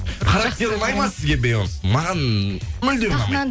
характеры ұнай ма сізге бейонстың маған мүлдем ұнамайды